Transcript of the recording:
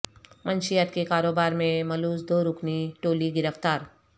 منشیات کے کاروبار میں ملوث دو رکنی ٹولی گرفتار